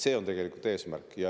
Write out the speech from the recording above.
See on tegelikult eesmärk.